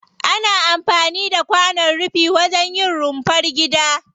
Ana amfani da kwanon rufi wajen yin rumfar gida.